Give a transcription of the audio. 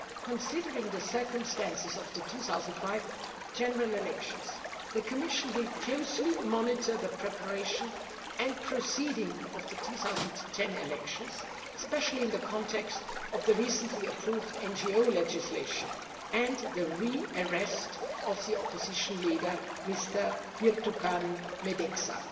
Considering the circumstances of the 2005 general elections, the Commission will closely monitor the preparation and proceeding of the 2010 elections, especially in the context of the recently approved NGO legislation and the re arrest of the opposition leader, Ms Birtukan Medeksa.